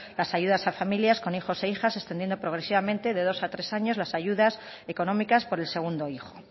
las ayudas a familias con hijos e hijas extendiendo progresivamente de dos a tres años las ayudas económicas por el segundo hijo